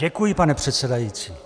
Děkuji, pane předsedající.